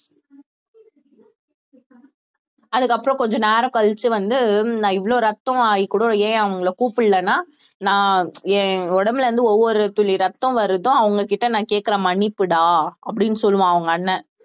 அதுக்கப்புறம் கொஞ்ச நேரம் கழிச்சு வந்து நான் இவ்வளவு ரத்தம் ஆகி கூட ஏன் அவங்களை கூப்பிடலைன்னா நான் என் உடம்புல இருந்து ஒவ்வொரு துளி ரத்தம் வருதோ அவங்ககிட்ட நான் கேட்கிற மன்னிப்புடா அப்படின்னு சொல்லுவான் அவங்க அண்ணன்